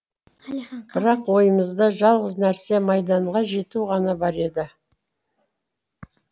бірақ ойымызда жалғыз нәрсе майданға жету ғана бар еді